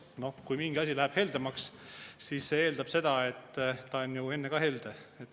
No kui mingi asi läheb heldemaks, siis see eeldab seda, et ta on enne ka olnud helde.